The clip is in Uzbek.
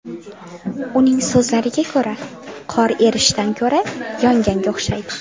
Uning so‘zlariga ko‘ra, qor erishdan ko‘ra, yonganga o‘xshaydi.